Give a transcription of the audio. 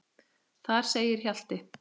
Þar segir Hjalti